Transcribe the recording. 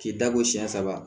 K'i da ko siyɛn saba